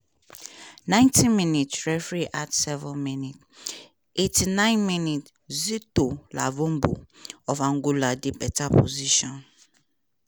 ninety minute referee add seven minutes eighty nine minute zito luvumbo of angola dey beta position.